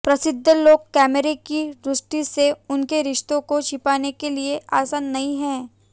प्रसिद्ध लोग कैमरों की दृष्टि से उनके रिश्ते को छिपाने के लिए आसान नहीं है